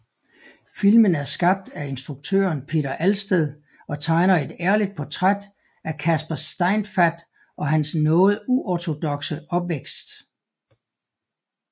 Filmen er skabt af instruktøren Peter Alsted og tegner et ærligt portræt af Casper Steinfath og hans noget uorthodoxe opvækst